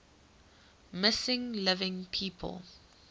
missing living people